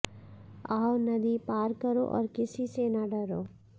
आओ नदी पार करो और किसी से न डरो